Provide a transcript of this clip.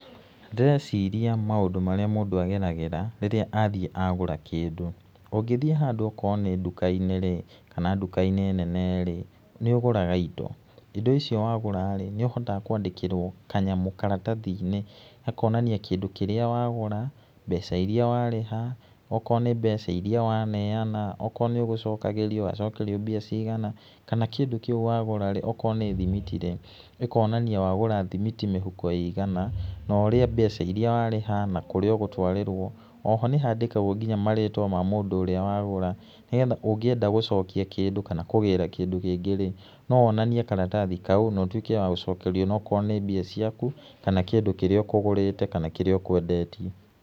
Ndĩreciria maũndũ marĩa mũndũ ageragíĩa ríĩĩa athiĩ agũra kĩndũ, ũngĩthiĩ handũ okorwo nĩ nduka-inĩ rĩ, kana nduka-inĩ nene rĩ, nĩ ũgũraga indo, indo icio wagũra rĩ, nĩ ũhotaga kwandĩkĩrwo kanyamũ karatathi-inĩ , hakonania kĩndũ kĩrĩa wagũra, mbeca iria warĩha, okorwo nĩ mbeca iria waneana okorwo nĩ ũgũcokagĩrio wacokerio mbia cigana, kana kĩndũ kiu wagũra, okorwo nĩ thimiti rĩ, ĩkonania wagũra thimiti mĩhuko ĩigana, mbeca iria warĩha na kũrĩa ũgũtwarĩrwo, oho nĩ wandĩkagwĩrwo nginya marĩtwa ma mũndũ ũríĩ wagũra, ũngĩenda gũcokia kĩndũ kana kũgĩra kĩndũ kĩngĩ rĩ, no wonanie karatathi na ũtuĩke wa gũcokerio, okorwo nĩ mbia ciaku kana kĩndũ kĩrĩa ũkũgũrĩte kana kĩria ũkwendetie.